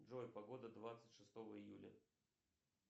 джой погода двадцать шестого июля